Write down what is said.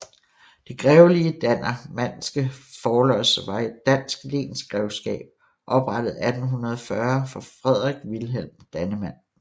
Det grevelige Dannemandske Forlods var et dansk lensgrevskab oprettet 1840 for Frederik Wilhelm Dannemand